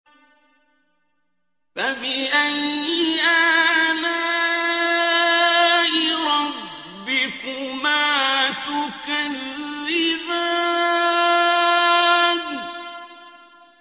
فَبِأَيِّ آلَاءِ رَبِّكُمَا تُكَذِّبَانِ